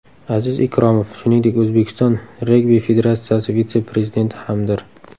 Aziz Ikromov, shuningdek, O‘zbekiston Regbi federatsiyasi vitse-prezidenti hamdir.